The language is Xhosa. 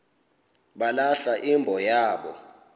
balahla imbo yabo